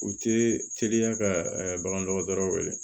U tɛ teliya ka bagan dɔgɔtɔrɔ wele